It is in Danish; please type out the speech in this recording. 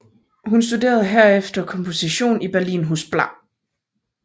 Hun studerede herefter komposition i Berlin hos bla